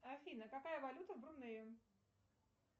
афина какая валюта в брунее